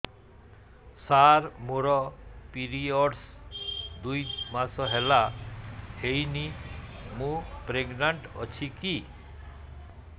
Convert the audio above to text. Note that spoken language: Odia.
ସାର ମୋର ପିରୀଅଡ଼ସ ଦୁଇ ମାସ ହେଲା ହେଇନି ମୁ ପ୍ରେଗନାଂଟ ଅଛି କି